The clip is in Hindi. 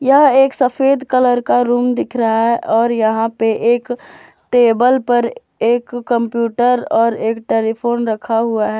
यह एक सफेद कलर का रूम दिख रहा है और यहां पे एक टेबल पर एक कंप्यूटर और एक टेलीफोन रखा हुआ है।